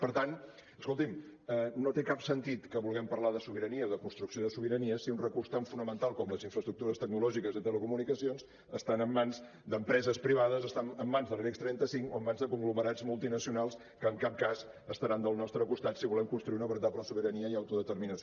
per tant escolti’m no té cap sentit que vulguem parlar de sobirania o de construcció de sobirania si un recurs tan fonamental com les infraestructures tecnològiques de telecomunicacions estan en mans d’empreses privades estan en mans de l’ibex trenta cinc o en mans de conglomerats multinacionals que en cap cas estaran del nostre costat si volem construir una veritable sobirania i autodeterminació